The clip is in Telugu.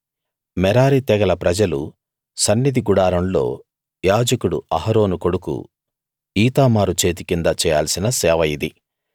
మెరారి తెగల ప్రజలు సన్నిధి గుడారంలో యాజకుడు అహరోను కొడుకు ఈతామారు చేతికింద చేయాల్సిన సేవ ఇది